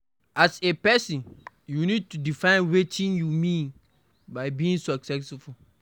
As a person you need to define wetin you mean by being successful